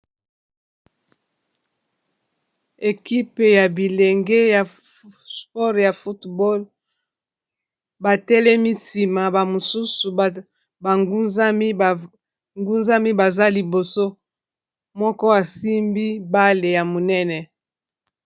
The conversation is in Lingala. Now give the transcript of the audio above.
Ekipe ya bilenge ya spore ya fotball batelemi nsima ba mosusu bngunzami baza liboso moko asimbi bale ya monene